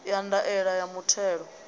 ya ndaela ya muthelo a